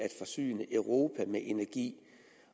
forsyne europa med energi